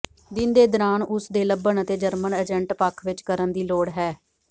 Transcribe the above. ਦਿਨ ਦੇ ਦੌਰਾਨ ਉਸ ਨੇ ਲੱਭਣ ਅਤੇ ਜਰਮਨ ਏਜੰਟ ਪੱਖ ਵਿਚ ਕਰਨ ਦੀ ਲੋੜ ਹੈ